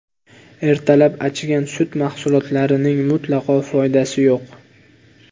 Ertalab achigan sut mahsulotlarining mutlaqo foydasi yo‘q.